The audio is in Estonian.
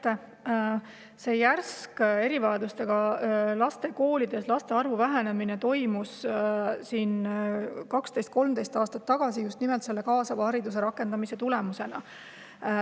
Järsk laste arvu vähenemine erivajadustega laste koolides toimus 12–13 aastat tagasi just nimelt kaasava hariduse rakendamise tulemusena.